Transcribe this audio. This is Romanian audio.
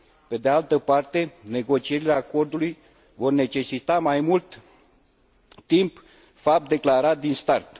Pe de altă parte, negocierile acordului vor necesita mai mult timp, fapt declarat din start.